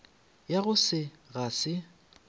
ya go se ga se